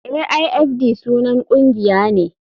Aifd sunan ƙungiya ne.